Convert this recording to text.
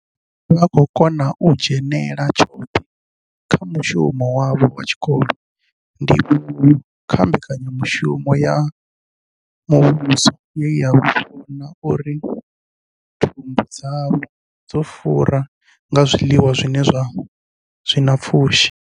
Vha khou kona u dzhenela tshoṱhe kha mushumo wavho wa tshikolo, ndivhuwo kha mbekanyamushumo ya muvhuso ye ya vhona uri thumbu dzavho dzo fura nga zwiḽiwa zwi na pfushi.